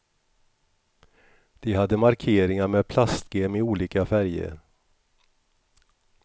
De hade markeringar med plastgem i olika färger.